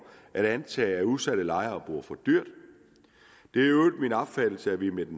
at antage at udsatte lejere bor for dyrt i øvrigt min opfattelse at vi med